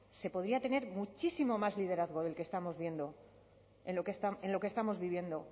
se podría tener muchísimo más liderazgo del que estamos viendo en lo que estamos viviendo